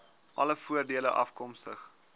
alle voordele afkomstig